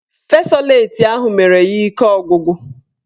Fesoleti ahụ mere ya ike ọgwụgwụ